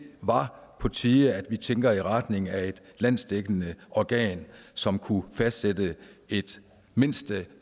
var på tide at vi tænker i retning af et landsdækkende organ som kunne fastsætte et mindste